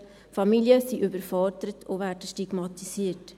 Familien sind überfordert und werden stigmatisiert.